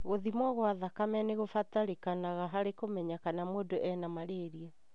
Gũthimwo gwa thakame nĩkũbatarĩkanaga harĩ kũmenya kana mundũ ena malaria.